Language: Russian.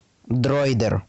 дроидер